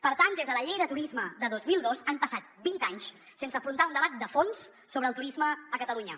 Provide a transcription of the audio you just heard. per tant des de la llei de turisme de dos mil dos han passat vint anys sense afrontar un debat de fons sobre el turisme a catalunya